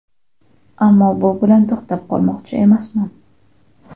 Ammo bu bilan to‘xtab qolmoqchi emasman.